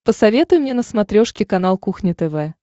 посоветуй мне на смотрешке канал кухня тв